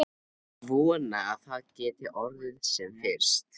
Ég vona að það geti orðið sem fyrst.